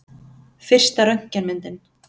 Fyrsta röntgenmyndin.